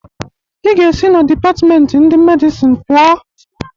Ị ga-esi na dipatpmenti ndị Medicine pụọ!